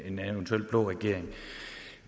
en eventuel blå regering